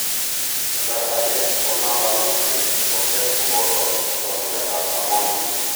Kasar age ko nervous system oset kopoto pwanunetap ammonia.